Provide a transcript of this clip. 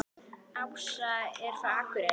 Ása er frá Akureyri.